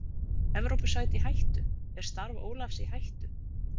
Evrópusæti í hættu, er starf Ólafs í hættu?